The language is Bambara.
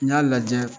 N y'a lajɛ